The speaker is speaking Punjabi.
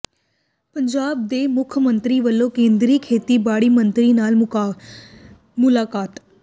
ਪੰਜਾਬ ਦੇ ਮੁੱਖ ਮੰਤਰੀ ਵੱਲੋਂ ਕੇਂਦਰੀ ਖੇਤੀਬਾੜੀ ਮੰਤਰੀ ਨਾਲ ਮੁਲਾਕਾਤ